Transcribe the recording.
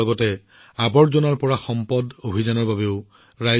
আমাৰ দেশত আৱৰ্জনাৰে এনে শিল্পকৰ্ম তৈয়াৰ কৰিব পৰা বহু লোক আছে